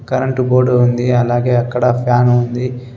Current board ఉంది అలాగే అక్కడ ఫ్యాను ఉంది.